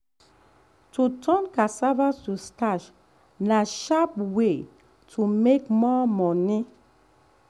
to turn cassava to starch na sharp way to make more money.